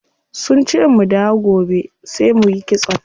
Sunce mu dawo gobe sai muyi kitson.